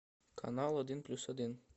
канал один плюс один